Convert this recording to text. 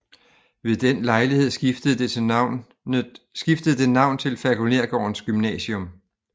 Ved den lejlighed skiftede det navn til Falkonergårdens Gymnasium